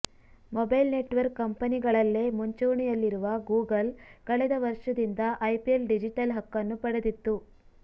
mobile network ಕಂಪೆನಿಗಳಲ್ಲೇ ಮುಂಚೂಣಿಯಲ್ಲಿರುವ Google ಕಳೆದ ವರ್ಷದಿಂದ ಐಪಿಎಲ್ ಡಿಜಿಟಲ್ ಹಕ್ಕನ್ನು ಪಡೆದಿತ್ತು